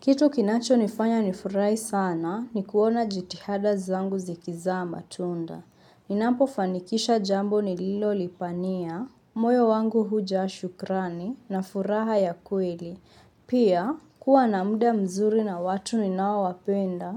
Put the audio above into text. Kitu kinacho nifanya nifurahi sana ni kuona jitihada zangu zikiza matunda. Ninapo fanikisha jambo nililolipania, moyo wangu huja shukrani na furaha ya kweli. Pia, kuwa na muda mzuri na watu ninaowapenda,